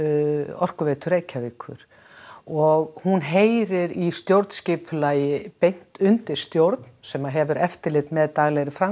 orkuveitur Reykjavíkur og hún heyrir í stjórnskipulagi beint undir stjórn sem hefur eftirlit með daglegri